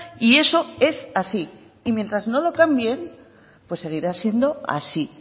y eso es así y mientras no lo cambien seguirá siendo así